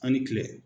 An ni kile